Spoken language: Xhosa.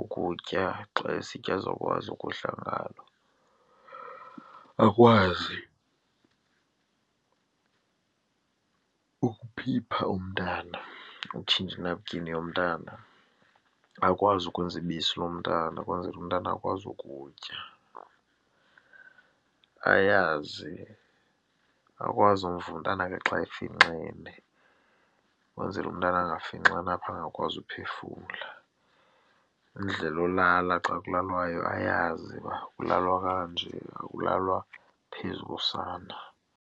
ukutya xa esitya azokwazi ukudla ngalo. Akwazi ukuphipha umntana, utshintsha inapukeni yomntana, akwazi ukwenza ibisi lomntana ukwenzela umntana akwazi ukutya. Ayazi, akwazi umva umntana khe xa efixene kwenzele umntana angafinxani apha, angakwazi uphefumla. Indlela yolala xa kudlalwayo ayazi uba kulalwa kanje, akulalwa phezu kosana.